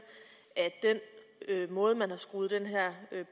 at den måde man har skruet den her